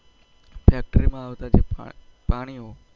factori માં આવતા જે પાણીઓ